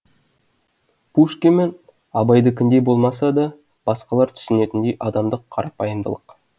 пушкин мен абайдікіндей болмаса да басқалар түсінетіндей адамдық қарапайымдылық